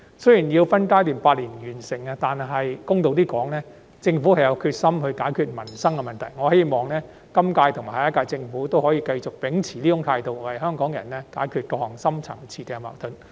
雖然有關建議須用8年分階段完成，但公道一點來說，政府有決心解決民生的問題，我希望今屆和下一屆政府可以繼續秉持這種態度，為香港人解決各項深層次矛盾。